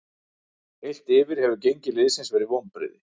Heilt yfir hefur gengi liðsins verið vonbrigði.